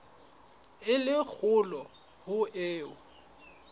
e le kgolo ho eo